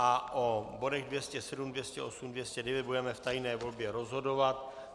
A o bodech 207, 208, 209 budeme v tajné volbě rozhodovat.